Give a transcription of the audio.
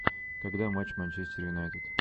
когда матч манчестер юнайтед